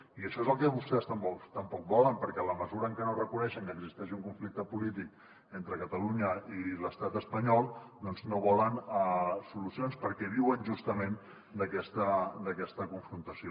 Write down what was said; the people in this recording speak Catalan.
i això és el que vostès tampoc volen perquè en la mesura en què no reconeixen que existeix un conflicte polític entre catalunya i l’estat espanyol doncs no volen solucions perquè viuen justament d’aquesta confrontació